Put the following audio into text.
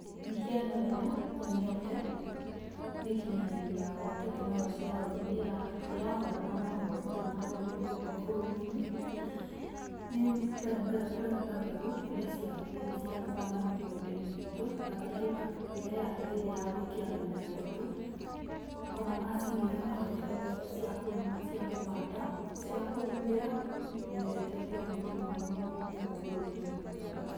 Mĩhiano ĩrĩa nyonitee, mĩkĩnyanĩrĩũ ya ũrĩa tekinoronjĩ ya ũrĩmĩ ĩra hũrana na maũrĩtũ maũrĩmĩ ngũkũ bũrũri-inĩ, nĩ mbere mbere kũreta mbegũ ĩrĩa cĩagĩrĩie cĩa kũbanda mĩgũnda-ĩnĩ ĩtũ, bataraitha ĩrĩa yagĩrĩie ya gũĩkĩra mĩmera ĩtũ, ona macĩnĩ ĩrĩa maretete ta cia kũrĩma, cia kũbanda, cia kũbubera, nĩ iretete ũgũnĩ mũno mũno ngũkũ bũrũri-inĩ witũ wa kenya.